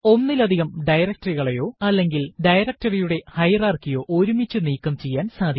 ഒന്നിലധികം directory കളയോ അല്ലെങ്കിൽ directory യുടെ ഹയറാർക്കി യോ ഒരുമിച്ചു നീക്കം ചെയ്യാൻ സാധിക്കും